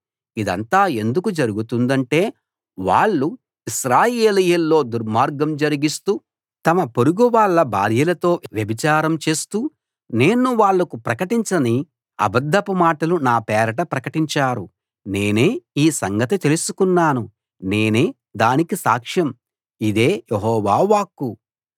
ఇదంతా ఎందుకు జరుగుతుందంటే వాళ్ళు ఇశ్రాయేలీయుల్లో దుర్మార్గం జరిగిస్తూ తమ పొరుగువాళ్ళ భార్యలతో వ్యభిచారం చేస్తూ నేను వాళ్లకు ప్రకటించని అబద్ధపు మాటలు నా పేరట ప్రకటించారు నేనే ఈ సంగతి తెలుసుకున్నాను నేనే దానికి సాక్షం ఇదే యెహోవా వాక్కు